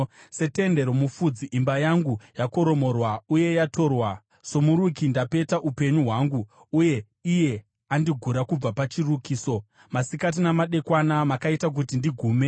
Setende romufudzi, imba yangu yakoromorwa uye yatorwa. Somuruki ndapeta upenyu hwangu, uye iye andigura kubva pachirukiso; masikati namadekwana makaita kuti ndigume.